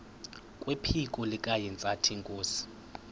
kwephiko likahintsathi inkosi